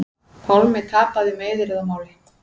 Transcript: Pálmi tapaði meiðyrðamáli